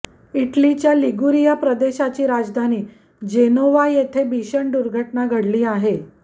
इटलीच्या लिगुरिया प्रदेशाची राजधानी जेनोवा येथे भीषण दुर्घटना घडली आहे